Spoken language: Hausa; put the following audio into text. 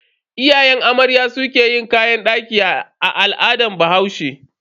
Iyayen amarya su ke yin kayan daki a al'adar bahaushe.